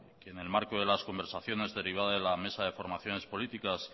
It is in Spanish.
que en el marco de las conversaciones derivada en la mesa de formaciones políticas